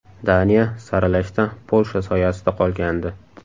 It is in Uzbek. Daniya saralashda Polsha soyasida qolgandi.